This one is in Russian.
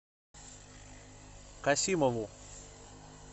касимову